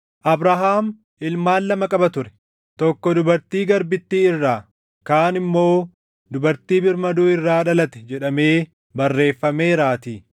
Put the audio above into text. “Abrahaam ilmaan lama qaba ture; tokko dubartii garbittii irraa, kaan immoo dubartii birmaduu irraa dhalate” jedhamee barreeffameeraatii.